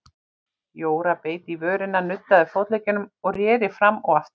Jóra beit í vörina, nuddaði fótleggina og reri fram og aftur.